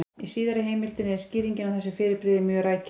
Í síðari heimildinni er skýringin á þessu fyrirbrigði mjög rækileg: